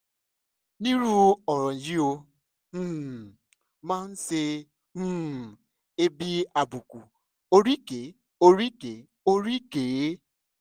nírú ọ̀ràn yìí ó um máa ń ṣe um é bíi àbùkù oríkèé oríkèé oríkèé